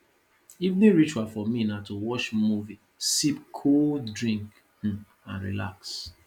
evening ritual for me na to watch movie sip cold drink um and relax